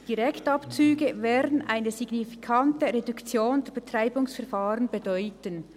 «Direktabzüge werden eine signifikante Reduktion der Betreibungsverfahren bedeuten.